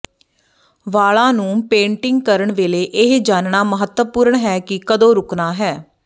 ਵਾਲਾਂ ਨੂੰ ਪੇਂਟਿੰਗ ਕਰਨ ਵੇਲੇ ਇਹ ਜਾਣਨਾ ਮਹੱਤਵਪੂਰਣ ਹੈ ਕਿ ਕਦੋਂ ਰੁਕਣਾ ਹੈ